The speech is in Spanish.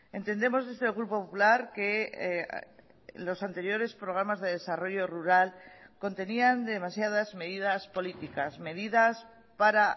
entendemos desde el grupo popular que los anteriores programas de desarrollo rural contenían demasiadas medidas políticas medidas para